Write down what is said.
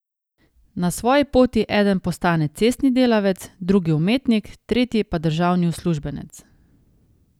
Na svoji poti eden postane cestni delavec, drugi umetnik, tretji pa državni uslužbenec.